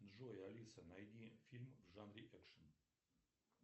джой алиса найди фильм в жанре экшен